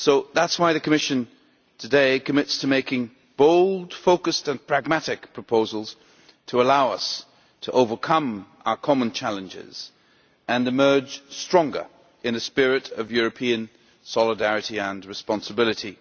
That is why the Commission today commits to making bold, focused and pragmatic proposals to allow us to overcome our common challenges and emerge stronger in the spirit of European solidarity and responsibility.